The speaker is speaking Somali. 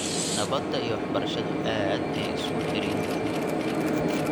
Nabadda iyo waxbarashadu aad ayay isugu xidhan yihiin .